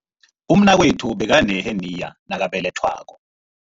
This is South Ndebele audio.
Umnakwethu bekaneheniya nakabelethwako.